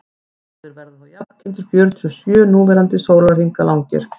báðir verða þá jafngildi fjörutíu og sjö núverandi sólarhringa langir